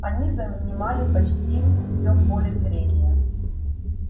они занимали почти все поле зрения